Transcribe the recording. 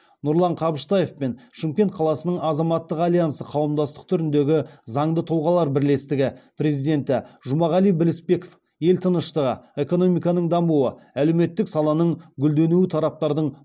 нұрлан қабыштаев пен шымкент қаласының азаматтық альянсы қауымдастық түріндегі заңды тұлғалар бірлестігі президенті жұмағали білісбеков ел тыныштығы экономиканың дамуы әлеуметтік саланың гүлденуі тараптардың